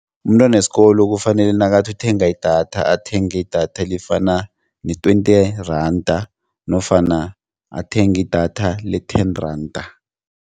Umntwanesikolo kufanele nakathi uthenga idatha athenge idatha elifana ne-twenty randa nofana athenge idatha le-ten randa.